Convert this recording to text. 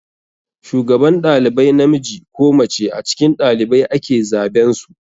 Shugaban ɗalibai namiji ko mace a cikin ɗalibai ake zaben su.